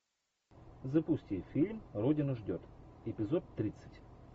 запусти фильм родина ждет эпизод тридцать